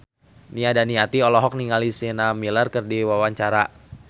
Nia Daniati olohok ningali Sienna Miller keur diwawancara